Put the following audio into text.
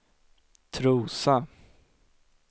Trosa